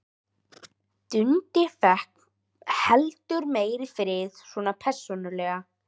Dundi fékk heldur meiri frið, svona persónulega.